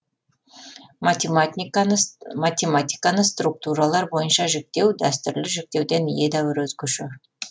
математиканы структуралар бойынша жіктеу дәстүрлі жіктеуден едәуір өзгеше